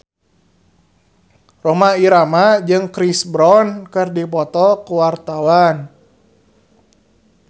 Rhoma Irama jeung Chris Brown keur dipoto ku wartawan